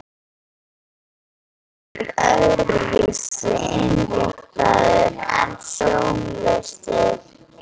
Sjáandinn er öðru vísi innréttaður en sjónlausir.